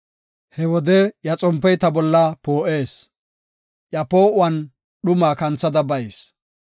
He wode iya xompey ta bolla poo7ees; iya poo7uwan dhumaa kanthada bayis.